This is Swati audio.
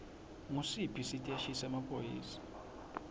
ngusiphi siteshi semaphoyisa